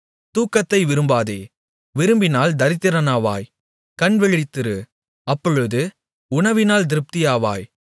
தூக்கத்தை விரும்பாதே விரும்பினால் தரித்திரனாவாய் கண்விழித்திரு அப்பொழுது உணவினால் திருப்தியாவாய்